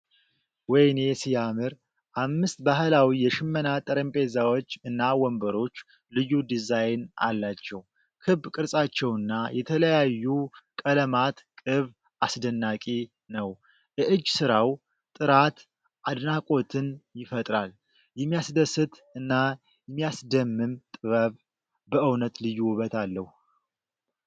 ወይኔ ሲያምር! አምስት ባህላዊ የሽመና ጠረጴዛዎች እና ወንበሮች ልዩ ዲዛይን አላቸው። ክብ ቅርጻቸውና የተለያዩ ቀለማት ቅብ አስደናቂ ነው። የእጅ ስራው ጥራት አድናቆትን ይፈጥራል። የሚያስደስት እና የሚያስደምም ጥበብ! በእውነት ልዩ ውበት አለው።